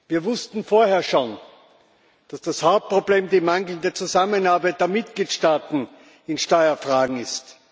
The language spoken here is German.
Wir wussten vorher schon, dass das Hauptproblem die mangelnde Zusammenarbeit der Mitgliedstaaten in Steuerfragen ist.